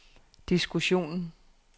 diskussionen